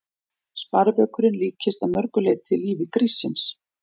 Sparibaukurinn líkist að mörg leyti lífi gríssins.